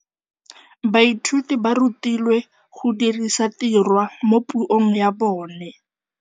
Baithuti ba rutilwe go dirisa tirwa mo puong ya bone.